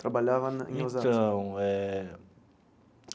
Trabalhava na em Osasco? Então eh.